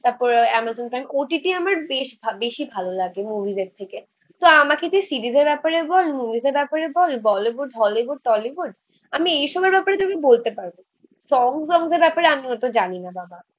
তারপর Amazon Prime OTT আমার বেশ, বেশী ভালো লাগে মুভিস এর থেকে আমাকে যে সিরিজের ব্যাপারে বল মুভিস ব্যাপারে বল, বলিউড, হলিউড, টলিউড. আমি এইসবের ব্যাপারে তুমি বলতে পারব. সং সংসের ব্যাপারে আমি অত জানি না বাবা